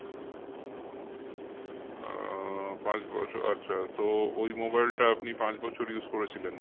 আহ পাঁচ বছ আচ্ছা তো ওই mobile টা আপনি পাঁচ বছর use করেছিলেন